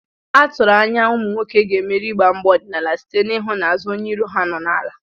A tụrụ anya na ụmụ nwoke ga-emeri igba mgba ọdịnala site n'ịhụ na azụ onye iro ha nọ n'ala.